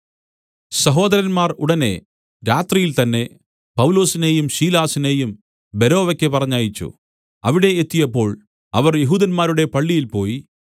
സഹോദരന്മാർ ഉടനെ രാത്രിയിൽ തന്നെ പൗലൊസിനെയും ശീലാസിനെയും ബെരോവയ്ക്ക് പറഞ്ഞയച്ചു അവിടെ എത്തിയപ്പോൾ അവർ യെഹൂദന്മാരുടെ പള്ളിയിൽ പോയി